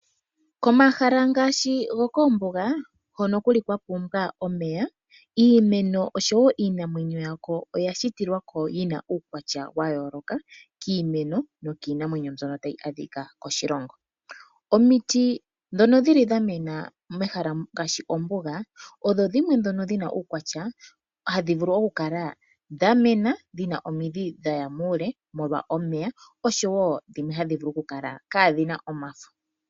Komahala ngaashi gokoombunga hono kuli okwapumbwa omeya iimeno nosho woo iinamwenyo yako oyashitwa yina uukwatya wa yoolokathana kiimeno nokiinamwenyo mbyono tayi adhika koshilongo. Omiti dhomombunga odhina uukwatya womidhi dhaya muule molwa omeya osho woo dhimwe ohadhivulu okukala kaadhina omafo.